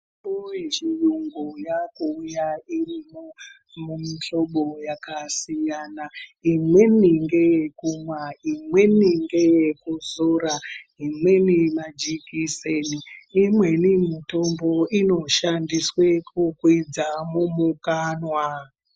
Mitombo yechiyungu yaakuuya irimo mumuhlobo yakasiyana. Imweni ngeyekumwa, imweni ngeyekuzora, imweni majikiseni imweni mutombo inosandiswe kukwidza mumukanwa.